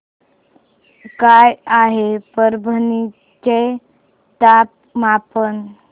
काय आहे परभणी चे तापमान